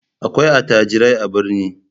Akwai attajirai a birni.